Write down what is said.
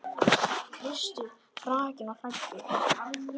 Kristur hrakinn og hæddur.